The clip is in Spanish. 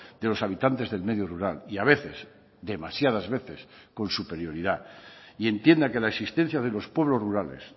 de los habitantes del medio rural y a veces demasiadas veces con superioridad y entienda que la existencia de los pueblos rurales